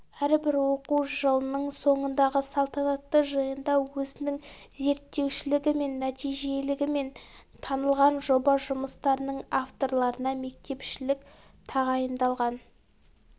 әрбір оқу жылының соңындағы салтанатты жиында өзінің зерттеушілігімен нәтижелігімен танылған жоба жұмыстарының авторларына мектепішілік тағайындалған